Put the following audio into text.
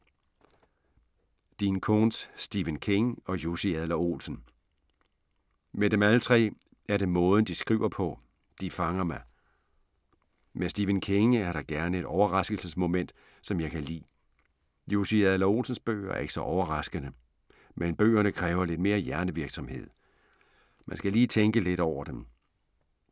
Dean Koontz, Stephen King og Jussi Adler-Olsen. Med dem alle tre er det måden de skriver på. De fanger mig. Med Stephen King er der gerne et overraskelsesmoment, som jeg kan lide. Jussi Adler-Olsens bøger er ikke så overraskende, men bøgerne kræver lidt mere hjernevirksomhed. Man skal lige tænke lidt over dem.